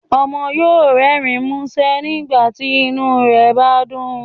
Ọmọ yóò rẹrin musẹ nígbàtí inu rẹ bá dún